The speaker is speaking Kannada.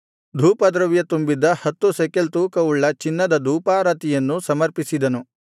ಧೂಪದ್ರವ್ಯ ತುಂಬಿದ್ದ ಹತ್ತು ಶೆಕೆಲ್ ತೂಕವುಳ್ಳ ಚಿನ್ನದ ಧೂಪಾರತಿಯನ್ನು ಸಮರ್ಪಿಸಿದನು